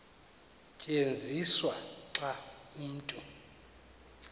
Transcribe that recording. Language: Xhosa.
tyenziswa xa umntu